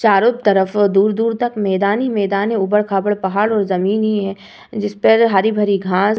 चारों तरफ दूर-दूर तक मैदान ही मैदान है। ऊबड़-खाबड़ पहाड़ और जमीन ही है। जिस पर हरी भरी घास --